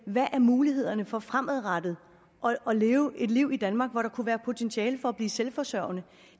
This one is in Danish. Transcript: hvad mulighederne er for fremadrettet at leve et liv i danmark hvor der kunne være et potentiale for at blive selvforsørgende